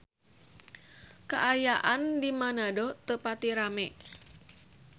Kaayaan di Manado teu pati rame